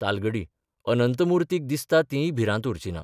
तालगडी अनंतमुर्तीक दिसता तीय भिरांत उरची ना.